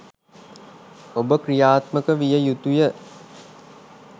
ඔබ ක්‍රියාත්මක විය යුතුය.